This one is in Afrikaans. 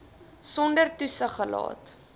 sonder toesig gelaat